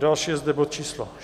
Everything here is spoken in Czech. Další je zde bod číslo